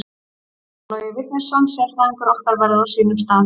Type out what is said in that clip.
Einar Logi Vignisson sérfræðingur okkar verður á sínum stað.